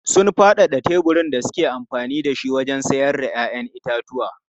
Sun faɗaɗa teburin da suke amfani da shi wajen sayar da 'ya'yan itatuwa.